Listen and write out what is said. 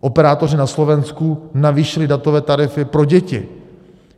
Operátoři na Slovensku navýšili datové tarify pro děti.